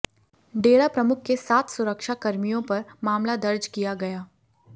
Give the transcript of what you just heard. डेरा प्रमुख के सात सुरक्षा कर्मियों पर मामला दर्ज किया गया